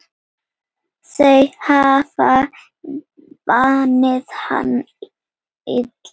Þau hafa vanið hann illa.